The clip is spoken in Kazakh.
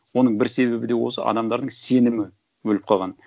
оның бір себебі де осы адамдардың сенімі өліп қалған